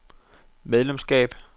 medlemskab